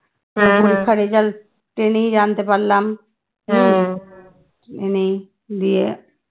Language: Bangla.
পরীক্ষার result পেলি জানতে পারলাম আমি দিয়ে